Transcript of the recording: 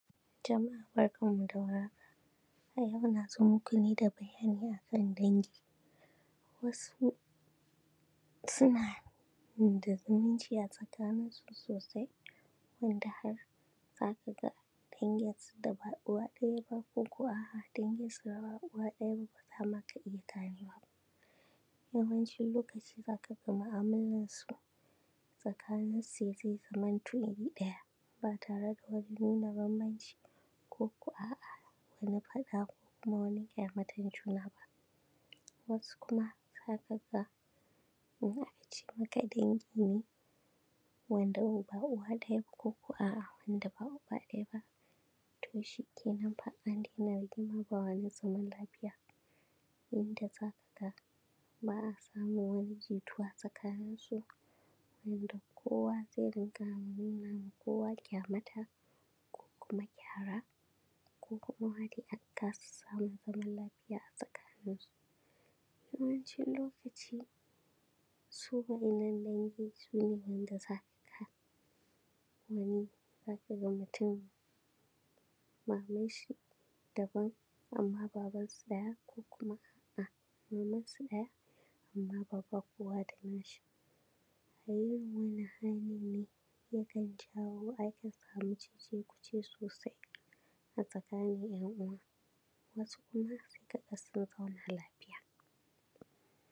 Jama’a barkanmu da warhaka. A yau na zo maku ne da bayani a kan dangi. Wasu suna da zumunci a tsakaninsu soosai wanda har za ka ga danginsu da ba uwa ɗaya ba kooko a’a danginsu da ba uba ɗaya ba baa ma ka iya ganewa. Yawancin lokaci za ka ga mu’amalansu tsakaninsu zai zamanto iri ɗaya ba tare da wani nuna bambanci kooko a’a wani faɗa ko kuma wani ƙyamatan juna ba. Wasu kuma za ka gaa ko za a ce maka dangi ne wanda ba uwa ɗaya koko a’a wanda ba uba ɗaya ba, to shikenan fa an dinga rigima ba zaman lafiya wanda za ka ga ba a samun wani jituwa tsakaninsu a yanda kowa zai rinƙa nuna ma kowa ƙyamata ko kuma kyara ko kuma maa dai a kaasa samun zaman lafiya a tsakaninsu. Yawancin lokaci su waɗannan dangi su ne wanda za ka ga wani, za ka ga mutum mamanshi dabam amma baban su ɗaya ko kuma a’a mamansu ɗaya amma baba kowa da na shi, a irin wannan halin ne ya kan jawo, akan samu cecekuce soosai a tsakanin ‘yan’uwa, wasu kuma sai a ga sun zauna lafiya.